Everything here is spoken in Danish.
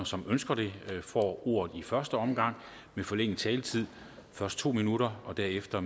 som ønsker det får ordet i første omgang med forlænget taletid først to minutter og derefter